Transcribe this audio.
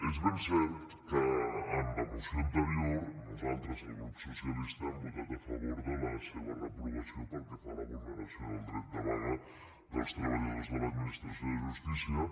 és ben cert que en la moció anterior nosaltres el grup socialista hem votat a favor de la seva reprovació pel que fa a la vulneració del dret de vaga dels treballadors de l’administració de justícia